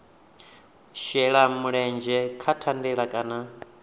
shela mulenzhe kha thandela kana